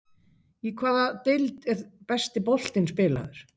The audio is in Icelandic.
Í hvaða deild er besti boltinn spilaður?